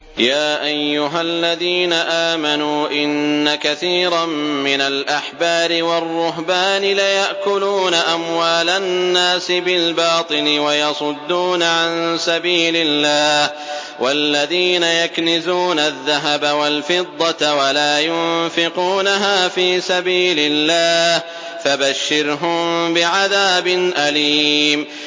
۞ يَا أَيُّهَا الَّذِينَ آمَنُوا إِنَّ كَثِيرًا مِّنَ الْأَحْبَارِ وَالرُّهْبَانِ لَيَأْكُلُونَ أَمْوَالَ النَّاسِ بِالْبَاطِلِ وَيَصُدُّونَ عَن سَبِيلِ اللَّهِ ۗ وَالَّذِينَ يَكْنِزُونَ الذَّهَبَ وَالْفِضَّةَ وَلَا يُنفِقُونَهَا فِي سَبِيلِ اللَّهِ فَبَشِّرْهُم بِعَذَابٍ أَلِيمٍ